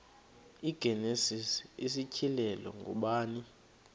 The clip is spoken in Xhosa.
igenesis isityhilelo ngubani